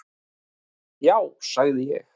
"""Já, sagði ég."""